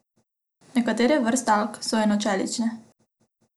Nekatere vrste alg so enocelične.